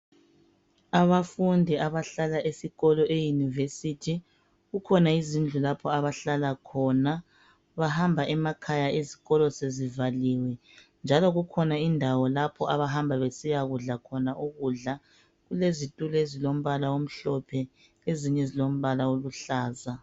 Abafundi abahlala esikolo e University. Kukhona izindlu lapho abahlala khona. Bahamba emakhaya izikolo sezivaliwe njalo kukhona indawo lapho abahamba besiyakudla khona ukudla. Kulezitulo ezilombala omhlophe .Ezinye silombala oluhlaza.